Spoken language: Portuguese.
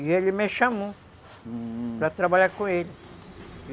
E ele me chamou, uhum, para trabalhar com ele.